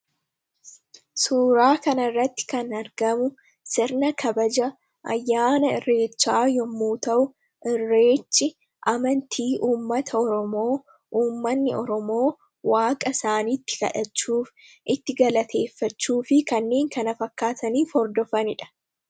suuraa kana irratti kan argamu sirna kabaja ayyaana irreechaa yommuu ta'u irreechi amantii uummata oromoo uummanni oromoo waaqa isaaniitti kadhachuuf itti galateeffachuufi kanneen kana fakkaatanii hordofaniidha.